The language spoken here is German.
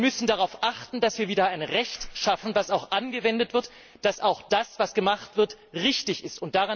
Wir müssen darauf achten, dass wir wieder ein Recht schaffen, das auch angewendet wird, damit das, was gemacht wird, auch richtig ist.